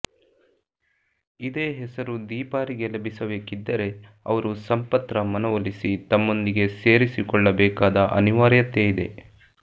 ಇದೇ ಹೆಸರು ದೀಪಾರಿಗೆ ಲಭಿಸಬೇಕಿದ್ದರೆ ಅವರು ಸಂಪತ್ರ ಮನವೊಲಿಸಿ ತಮ್ಮೊಂದಿಗೆ ಸೇರಿಸಿಕೊಳ್ಳಬೇಕಾದ ಅನಿವಾರ್ಯತೆ ಇದೆ